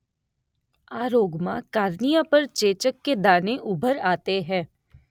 આ રોગ માં કાર્નિયા પર ચેચક કે દાને ઉભર આતે હૈં